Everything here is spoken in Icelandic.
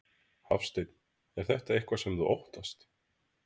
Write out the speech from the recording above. Hafsteinn: Er þetta eitthvað sem þú óttast?